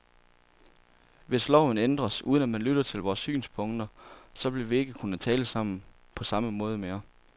Hvis loven ændres, uden at man lytter til vores synspunkter, så vil vi ikke kunne tale sammen på samme måde mere.